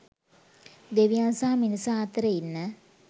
දෙවියන් සහ මිනිසා අතර ඉන්න